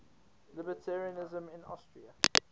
libertarianism in austria